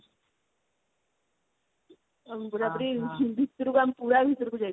ଉଁ ପୁରାପୁରି ଭିତୁରୁକୁ ଆମେ ପୁରା ଭିତରକୁ ଯାଇଥିଲୁ।